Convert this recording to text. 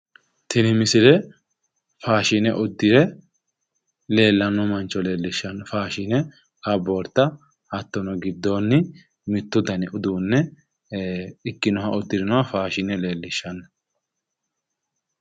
Tini misille faashine uddire leellanno mancho leellishshanno faashine kaboorta hattono gidoonni mittu dani uduunne ikkinoha uddirinoha faashine leellishanno.